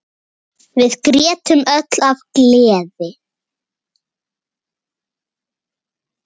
Við grétum öll af gleði.